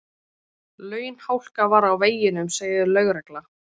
Launhálka var á veginum segir lögregla